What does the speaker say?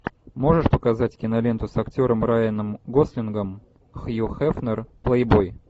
можешь показать киноленту с актером райаном гослингом хью хефнер плейбой